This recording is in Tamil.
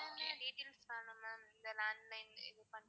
என்னென்ன details வேணும் ma'am இந்த landline இது பண்ண?